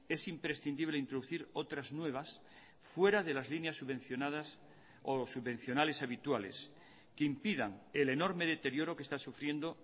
es imprescindible introducir otras nuevas fuera de las líneas subvencionadas o subvencionales habituales que impidan el enorme deterioro que está sufriendo